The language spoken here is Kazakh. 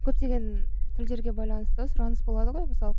көптеген тілдерге байланысты сұраныс болады ғой мысалы